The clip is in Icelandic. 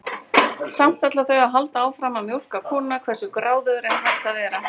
Samt ætla þau að halda áfram að mjólka kúnna, hversu gráðugur er hægt að vera?